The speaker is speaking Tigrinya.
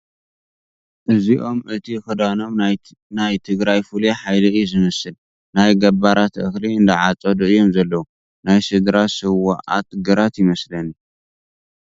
እዚኦም እቲ ኽዳኖም ናይ ትግራይ ፍሉይ ሓይሊ እዩ ዝመስል ፡ ናይ ገባራት እኽሊ እንዳዓፀዱ እዮም ዘለዉ ፡ ናይ ስድራ ስውኣት ግራት ይመስለኒ ።